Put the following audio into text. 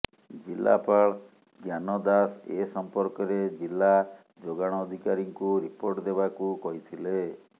ଜିଲାପାଳ ଜ୍ଞାନ ଦାସ ଏ ସଂପର୍କରେ ଜିଲା ଯୋଗାଣ ଅଧିକାରୀଙ୍କୁ ରିପୋର୍ଟ ଦେବାକୁ କହିଥିଲେ